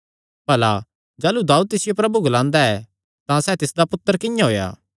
भला जाह़लू दाऊद तिसियो प्रभु ग्लांदा ऐ तां सैह़ तिसदा पुत्तर किंआं होएया